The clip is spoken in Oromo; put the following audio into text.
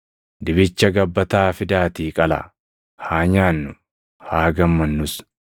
Dibicha gabbataa fidaatii qalaa; haa nyaannuu; haa gammannus.